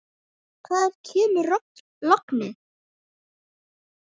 Hvaðan kemur lognið?